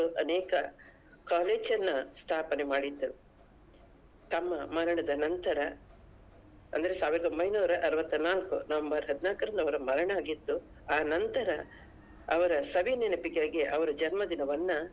ಅನೇಕ college ಅನ್ನಾ ಸ್ಥಾಪನೆ ಮಾಡಿದ್ದರು ತಮ್ಮ ಮರಣದ ನಂತರ ಅಂದ್ರೆ ಸಾವಿರದ ಒಂಬೈನೂರ ಅರ್ವತ್ತ ನಾಲ್ಕು November ಹದಿನಾಲ್ಕು ಅವರ ಮರಣ ಆಗಿತ್ತು ಆ ನಂತರ ಅವರ ಸವಿ ನೆನಪಿಗಾಗಿ ಅವರ ಜನ್ಮ ದಿನವನ್ನ.